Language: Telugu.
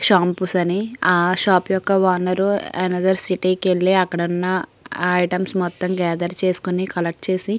షాంపూస్ అని ఆ షాప్ యొక్క ఓనర్ అనతర్ సిటీ కి వెళ్ళి అక్కడున్న ఐటెమ్స్ మొత్తం గేదర్ చేసుకుని కలెక్ట్ చేసి --